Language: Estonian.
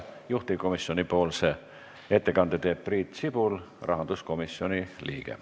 Juhtivkomisjoni ettekande teeb Priit Sibul, rahanduskomisjoni liige.